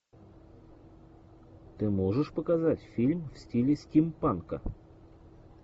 ты можешь показать фильм в стиле стимпанка